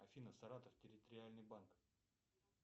афина саратов территориальный банк